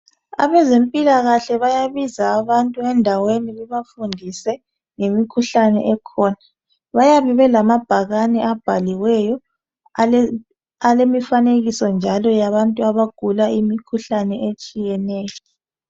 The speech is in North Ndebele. Abezempilakahle bayabiza abantu endaweni bebafundise ngemikhuhlane ekhona. Bayabe belamabhakane abhaliweyo alemifanekiso njalo yabantu abagula imikhuhlane etshiyeneyo